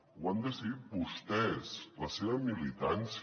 ho han decidit vostès la seva militància